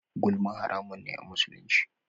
Gulma haramun ne a musulunci.